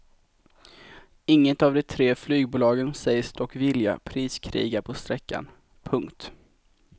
Inget av de tre flygbolagen säger sig dock vilja priskriga på sträckan. punkt